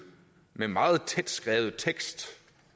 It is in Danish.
med en meget tætskrevet tekst